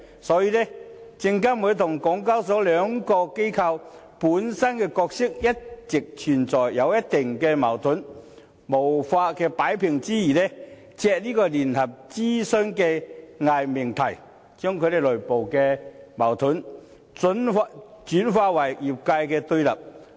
所以，證監會和港交所兩個機構本身的角色一直存在一定矛盾，在無法擺平之餘，借聯合諮詢這個偽命題，把其內部矛盾轉化為業界的對立。